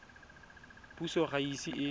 puso ga e ise e